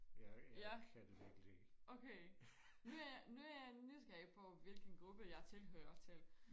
ja okay nu er jeg nu er jeg nysgerrig på hvilken gruppe jeg tilhører til